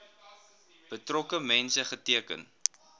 betrokke mense geteken